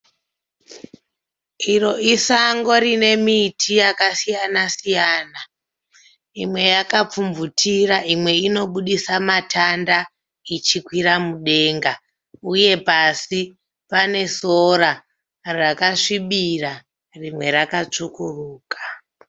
Iro isango rine miti yakasiyana siyana. Imwe yakapfumvutira imwe inoburitsa matanda ichikwira mudenga. Uye pasi panesora rakasvibira rimwe rakatsvukuruka.